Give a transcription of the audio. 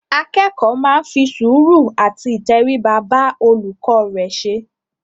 Akẹ́kọ̀ọ́ máa ń fi sùúrù àti ìtẹríba bá olùkọ́ rẹ ṣe.